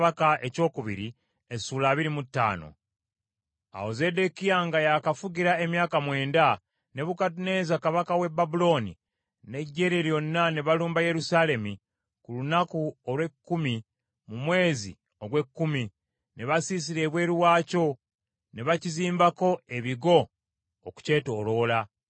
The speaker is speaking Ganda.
Awo Zeddekiya nga yakafugira emyaka mwenda, Nebukadduneeza kabaka w’e Babulooni n’eggye lye lyonna ne balumba Yerusaalemi ku lunaku olw’ekkumi mu mwezi ogw’ekkumi; ne basiisira ebweru waakyo, ne bakizimbako ebigo okukyetooloola.